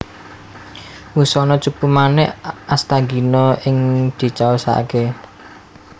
Wusana cupu manik Asthagina iku dicaosaké